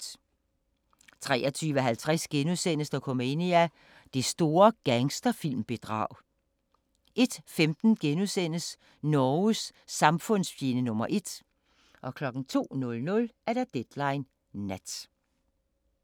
23:50: Dokumania: Det store gangsterfilm-bedrag * 01:15: Norges samfundsfjende nr. 1 * 02:00: Deadline Nat